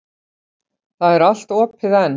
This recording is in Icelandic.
Það er allt opið enn.